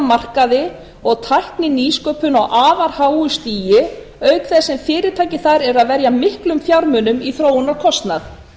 markaði og tækninýsköpun á afar háu stigi auk þess sem fyrirtækin þar eru að verja miklum fjármunum í þróunarkostnað